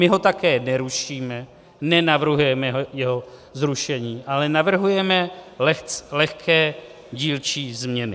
My ho také nerušíme, nenavrhujeme jeho zrušení, ale navrhujeme lehké dílčí změny.